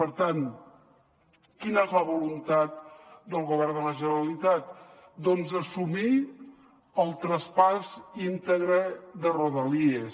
per tant quina és la voluntat del govern de la generalitat doncs assumir el traspàs íntegre de rodalies